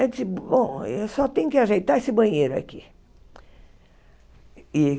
Aí eu disse, bom, eu só tenho que ajeitar esse banheiro aqui. E